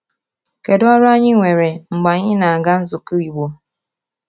Kedu ọrụ anyị nwere mgbe anyị na-aga nzukọ Igbo?